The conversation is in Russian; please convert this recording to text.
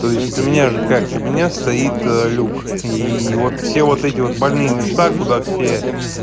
то есть у меня же как у меня стоит лук и вот все вот эти вот больные места куда все